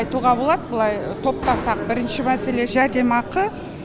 айтуға болады былай топтасақ бірінші мәселе жәрдемақы